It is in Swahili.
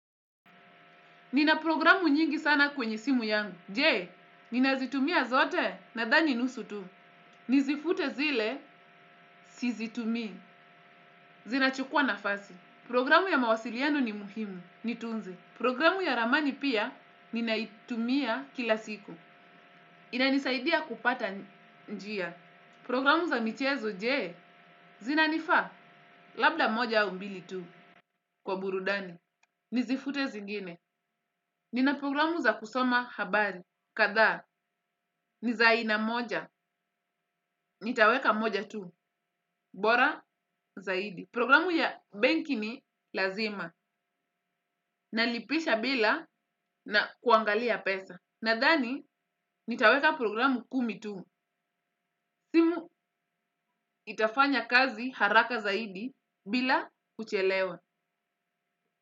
Nina programu nyingi sana kwenye simu yangu. Je, nina zitumia zote nadhani nusu tu. Nizifute zile sizitumii. Zinachukua nafasi. Programu ya mawasiliano ni muhimu. Nitunze. Programu ya ramani pia ninaitumia kila siku. Inanisaidia kupata njia. Programu za michezo je, zinanifaa? Labda moja au mbili tu kwa burudani. Nizifute zingine. Nina programu za kusoma habari. Kadhaa ni za aina moja. Nitaweka moja tu. Bora zaidi. Programu ya benki ni lazima. Nalipisha bila na kuangalia pesa. Nadhani, nitaweka programu kumi tu. Simu itafanya kazi haraka zaidi bila kuchelewa.